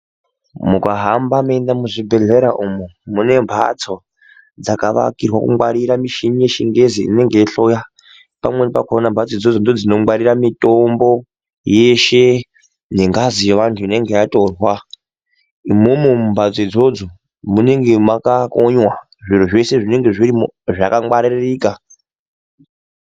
Mukahamba meienda muzvibhodhlera umwo mune mbatso dzavakirwa kungwarira michini yechingezi inenge yeihloya. Pamweni pakona mbatso idzodzo ndodzinogwarora mitombo yeshe yengazi yevantu inenge yatorwa , imomo mumbatso idzodzo munenge makakonywa zviro zveshe zvinenge zvirimwo zvakangwaririka.